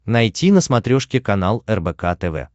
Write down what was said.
найти на смотрешке канал рбк тв